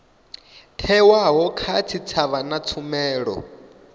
thewaho kha tshitshavha na tshumelo